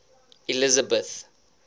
elizabeth